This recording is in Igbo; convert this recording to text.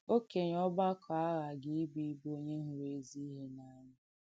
Ọ̀kènyè ọ̀gbàkọ̀ àghàgì ìbù ìbù “onyè hụ̀rụ̀ èzì ìhé n’ànyà.”